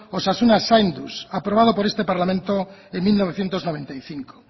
osasuna zainduz aprobado por este parlamento en mil novecientos noventa y cinco